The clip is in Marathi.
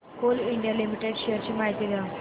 कोल इंडिया लिमिटेड शेअर्स ची माहिती द्या